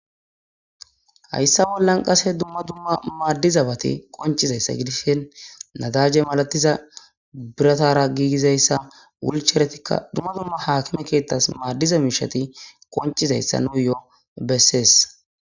hayssa bollan qase dumma dumma maaddizabati qonchizayssa gidishen nadaje malatiza biratara giigizayssa wulcheretikka dumma dumma haakime keettas maaddiza miishati qonchizayssa nu yoo bessees